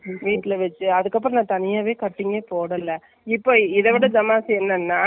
ஏனப்பா நான் போய் இன்னைக்கு அஸ்ரின் அவங்க அம்மா சொன்னாங்க, அது மாதிரி பண்ணலான்னு இருக்கேன்.வெளில குடுத்தா.